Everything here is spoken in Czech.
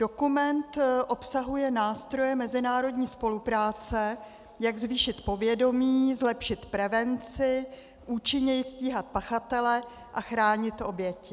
Dokument obsahuje nástroje mezinárodní spolupráce, jak zvýšit povědomí, zlepšit prevenci, účinněji stíhat pachatele a chránit oběti.